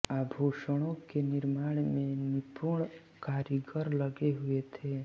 आभूषणों के निर्माण में निपुण कारीगर लगे हुए थे